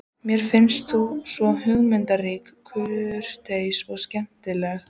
Mér fannst þú svo hugmyndaríkur, kurteis og skemmtilegur.